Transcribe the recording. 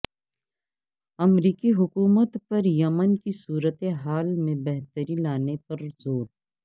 امریکی حکومت پر یمن کی صورت حال میں بہتری لانے پر زور